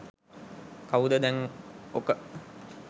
කවුද දැන් ඔක